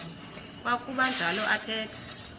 kwakuba njalo athetha